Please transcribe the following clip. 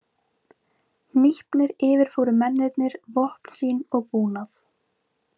Hnípnir yfirfóru mennirnir vopn sín og búnað.